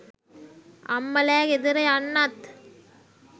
අම්මලෑ ගෙදර යන්නත්